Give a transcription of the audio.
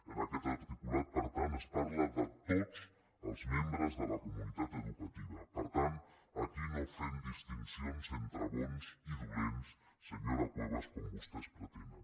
en aquest articulat per tant es parla de tots els membres de la comunitat educativa per tant aquí no fem distincions entre bons i dolents senyora cuevas com vostès pretenen